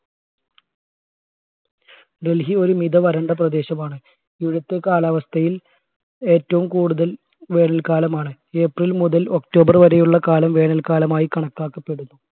ഡൽഹി ഒരുമിത വരണ്ട പ്രദേശമാണ് ഇവിടുത്തെ കാലാവസ്ഥയിൽ ഏറ്റവും കൂടുതൽ വേനൽ കാലമാണ് april മുതൽ october വരെയുള്ള കാലം വേനൽക്കാലമായി കണക്കാക്കപ്പെടുന്നു